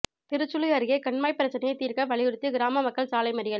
திருச்சுழி அருகே கண்மாய் பிரச்னையை தீா்க்க வலியுறுத்தி கிராம மக்கள் சாலை மறியல்